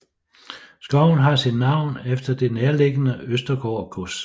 Skoven har sit navn efter det nærliggende Østergaard gods